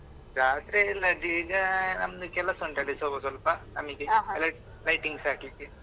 ಜಾತ್ರೆ ಎಲ್ಲದು ಈಗ ನಮ್ದು ಕೆಲಸ ಉಂಟಲ್ಲಿ ಸ್ವಲ್ಪ ನಮಿಗೆ elect~ lightings ಹಾಕ್ಲಿಕ್ಕೆ.